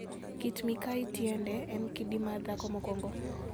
Kit-mikayi tiende en "kidi mar dhako mokwongo"